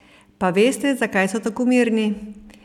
Pa veste, zakaj so tako mirni?